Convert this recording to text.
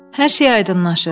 Hər şey aydınlaşır.